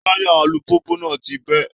Táyà alùpùpù náà ti bẹ́